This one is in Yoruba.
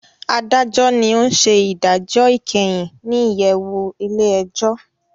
Adajọ ní ọ n ṣe idajọ ikẹhin ní iyẹwu ilé-ẹjọ